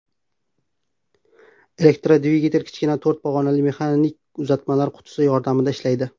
Elektrodvigatel kichkina to‘rt pog‘onali mexanik uzatmalar qutisi yordamida ishlaydi.